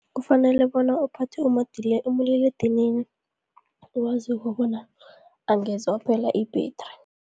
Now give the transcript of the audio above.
Kufanele bona uphathe umaliledinini owaziko bona angeze waphela ibhedri.